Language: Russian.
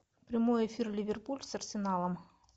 прямой эфир ливерпуль с арсеналом